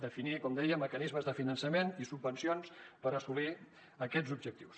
definir com dèiem mecanismes de finançament i subvencions per assolir aquests objectius